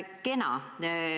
Kena.